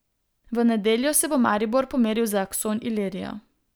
V nedeljo se bo Maribor pomeril z Akson Ilirijo.